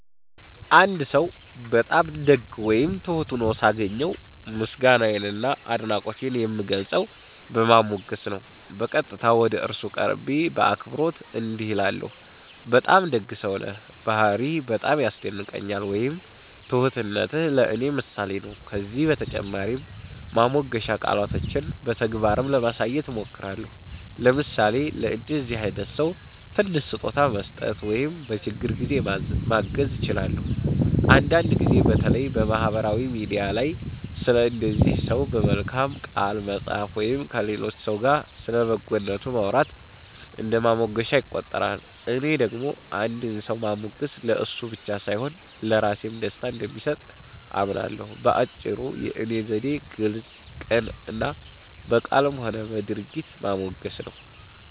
አንድ ሰው በጣም ደግ ወይም ትሁት ሆኖ ሳገኘው፣ ምስጋናዬን እና አድናቆቴን የምገልጸው በማሞገስ ነው። በቀጥታ ወደ እሱ ቀርቤ በአክብሮት እንዲህ እላለሁ፦ “በጣም ደግ ሰው ነህ፣ ባህርይህ በጣም ያስደንቀኛል” ወይም “ትሁትነትህ ለእኔ ምሳሌ ነው”። ከዚህ በተጨማሪ ማሞገሻ ቃላቶቼን በተግባርም ለማሳየት እሞክራለሁ፤ ለምሳሌ ለእንደዚህ አይነት ሰው ትንሽ ስጦታ መስጠት ወይም በችግር ጊዜ ማገዝ እችላለሁ። አንዳንድ ጊዜ በተለይ በማህበራዊ ሚዲያ ላይ ስለ እንደዚህ ሰው በመልካም ቃል መጻፍ ወይም ከሌሎች ሰዎች ጋር ስለ በጎነቱ ማውራት እንደ ማሞገሻ ይቆጠራል። እኔ ደግሞ አንድን ሰው ማሞገስ ለእሱ ብቻ ሳይሆን ለራሴም ደስታ እንደሚሰጥ አምናለሁ። በአጭሩ፣ የእኔ ዘዴ ግልጽ፣ ቅን እና በቃልም ሆነ በድርጊት ማሞገስ ነው።